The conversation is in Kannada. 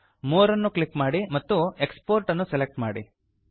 ಮೋರ್ ಅನ್ನು ಕ್ಲಿಕ್ ಮಾಡಿ ಮತ್ತು ಎಕ್ಸ್ಪೋರ್ಟ್ ಅನ್ನು ಸೆಲೆಕ್ಟ್ ಮಾಡಿ